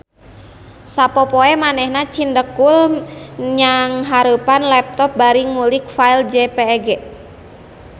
Sapopoe manehna cindekul nnyangharepan laptop bari ngulik file jpeg